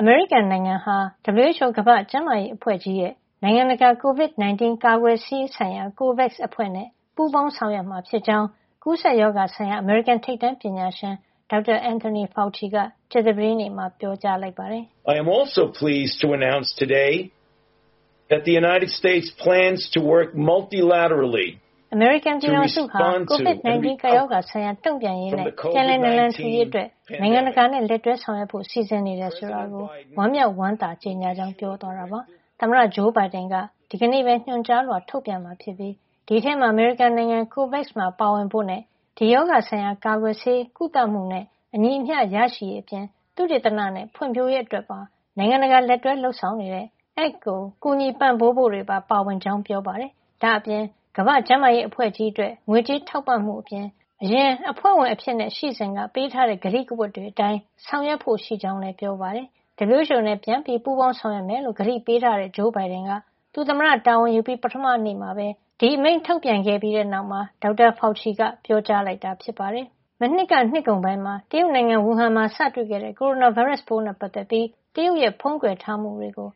အမေရိကန်နိုင်ငံဟာ WHO ကမ္ဘာ့ကျန်းမာရေးအဖွဲ့ကြီးရဲ့ နိုင်ငံတကာ COVID 19 ကာကွယ်ဆေးဆိုင်ရာ COVAX အဖွဲ့နဲ့ ပူးပေါင်းဆောင်ရွက်မှာ ဖြစ်ကြောင်း ကူးစက်ရောဂါဆိုင်ရာ အမေရိကန်ထိပ်တန်းပညာရှင် ဒေါက်တာ Anthony Fauci က ကြာသပတေးနေ့မှာ ပြောကြားလိုက်ပါတယ်။ အမေရိကန်ပြည်ထောင်စုဟာ COVID- 19 ကပ်ရောဂါ ဆိုင်ရာတုန့်ပြန်ရေးနဲ့ ပြန်လည်နလံထူရေး အတွက် နိုင်ငံတကာနဲ့ လက်တွဲဆောင်ရွက်ဖို့ စီစဉ်နေတယ်ဆိုတာကို ဝမ်းမြောက်ဝမ်းသာ ကြေညာကြောင်း ပြောသွားတာပါ။ သမ္မတဂျိုးဘိုင်ဒန်က က ဒီကနေ့ပဲ ညွှန်ကြားလွှာထုတ်ပြန်မှာ ဖြစ်ပြီး အဲဒီထဲမှာ အမေရိကန်နိုင်ငံ COVAX မှာ ပါဝင်ဖို့နဲ့ ဒီရောဂါဆိုင်ရာ ကာကွယ်ဆေး၊ ကုသမှုနဲ့ အညီအမျှ ရရှိရေး အပြင် သုတေသနနဲ့ ဖွံ့ဖြိုးရေးအတွက်ပါ နိုင်ငံတကာ လက်တွဲလုပ်ဆောင်နေတဲ့ ACT ကို ကူညီပံ့ပိုးဖို့ တွေပါပါဝင်ကြောင်း ပြောပါတယ်။ ဒါ့အပြင် ကမ္ဘာ့ကျန်းမာရေး အဖွဲ့ကြီးအတွက် ငွေကြေးထောက်ပံ့မှုအပြင် အရင်အဖွဲ့ဝင် အဖြစ် ရှိစဉ်က ပေးထားတဲ့ ကတိကဝတ်တွေအတိုင်း ဆောင်ရွက်ဖို့ ရှိကြောင်းလည်းပြောပါတယ်။ WHO နဲ့ ပြန်ပြီး ပူးပေါင်းဆောင်ရွက်မယ်လို့ ကတိပေးထားတဲ့ ဂျိုးဘိုင်ဒန်က သူသမ္မတတာဝန်ယူပြီး ပထမနေ့မှာ ဒီအမိန့်ထုတ်ပြန်ခဲ့ပြီးတဲ့နောက် ဒေါက်တာ Fauci ကပြောကြားလိုက်တာ ဖြစ်ပါတယ်။ မနှစ်က နှစ်ကုန်ပိုင်းမှာ တရုတ်နိုင်ငံ ဝူဟန်မှာ စတွေ့ခဲ့တဲ့ ကိုရိုနာဗိုင်းရပ်စ်ပိုးနဲ့ ပတ်သက်ပြီး တရုတ်ရဲ့ဖုံးကွယ်ထားမှုတွေကို